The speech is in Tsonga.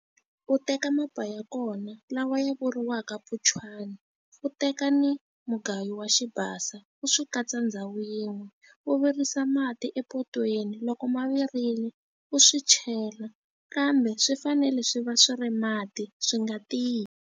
U teka mapa ya kona lawa ya vuriwaka mpunchwana, u teka ni mugayo wa xibasa u swi katsa ndhawu yin'we. U virisa mati epotweni, loko ma virile, u swi chela. Kambe swi fanele swi va swi ri mati, swi nga tiyi.